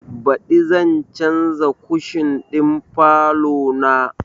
Baɗi zan canza kushin ɗin falo na